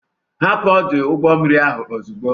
Hapụ ọdụ ụgbọ mmiri ahụ ozugbo!